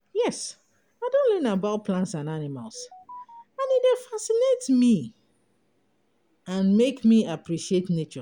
yes, i don learn about plants and animals, and e dey fascinate me and make me appreciate nature.